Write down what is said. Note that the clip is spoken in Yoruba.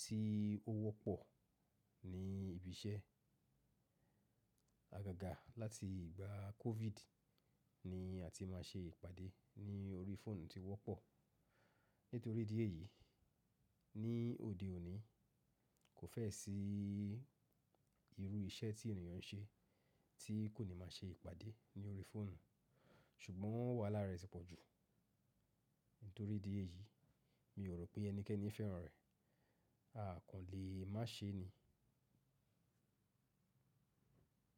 tí ó wọ́pọ̀ ní ibi iṣẹ́. Àgàgà láti ìgbà COVID ni àti máa ṣe ìpàdé ní orí fóònù ti wọ́pọ̀. Nítorí díẹ̀ yìí ní òde òní kò fẹ́ sí irú iṣẹ́ tí ènìyàn ń ṣe tí kò ní máa ṣe ìpàdé ní orí fóònù. Ṣùgbọ́n wàhálà rẹ̀ ti pọ̀ jù. Nítorí díẹ̀ yìí mi ò rò pé ẹnikẹ́ni fẹ́ràn rẹ̀, a kò lè má ṣe ni.